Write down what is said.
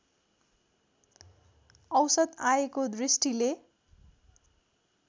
औसत आयको दृष्टिले